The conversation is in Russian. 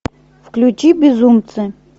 включи безумцы